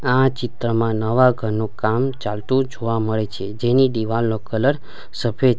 આ ચિત્રમાં નવા ઘરનું કામ ચાલતું જોવા મળે છે જેની દિવાલ નો કલર સફેદ --